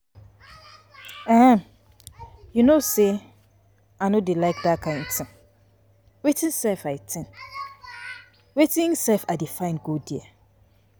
You no say I no dey like dat kin thing. Wetin I dey go find there?